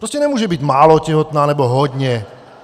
Prostě nemůže být málo těhotná, nebo hodně.